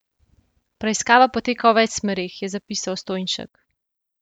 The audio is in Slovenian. Preiskava poteka v več smereh, je zapisal Stojnšek.